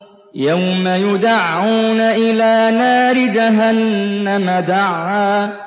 يَوْمَ يُدَعُّونَ إِلَىٰ نَارِ جَهَنَّمَ دَعًّا